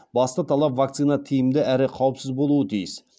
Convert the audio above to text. басты талап вакцина тиімді әрі қаупсіз болуы тиіс